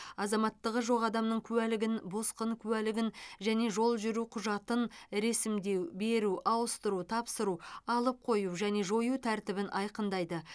азаматтығы жоқ адамның куәлігін босқын куәлігін және жол жүру құжатын ресімдеу беру ауыстыру тапсыру алып қою және жою тәртібін айқындайды